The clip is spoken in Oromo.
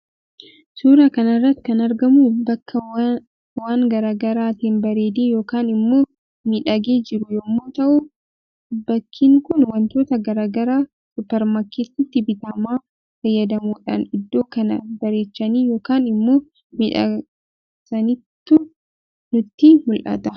Suuraa kanarratti kan argamu bakka waan garaa garaatiin bareedee yookaan immoo miodhagee jiru yommuu ta'u bakkinkuun waantota garaa garaa suupermaarkeetiiti bitama fayyadamuudhaan iddo kana bareechanii yookaan immoo miidhagsaniitu nutyi mul'ata.